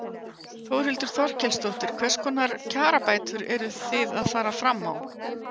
Þórhildur Þorkelsdóttir: Hvers konar kjarabætur eru þið að fara fram á?